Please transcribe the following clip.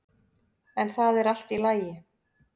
En það er allt í lagi.